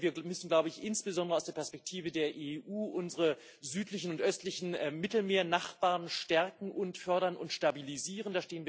Wir müssen, glaube ich, insbesondere aus der Perspektive der EU unsere südlichen und östlichen Mittelmeernachbarn stärken, fördern und stabilisieren.